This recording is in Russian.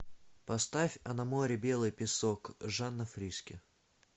поставь а на море белый песок жанна фриске